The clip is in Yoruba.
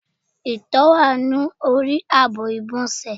Ìtọ́ wá ní orí àbọ̀ igbonse